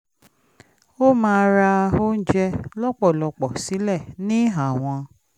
ó máa ra oúnjẹ lọ́pọ̀lọ́pọ̀ sílẹ̀ ní àwọn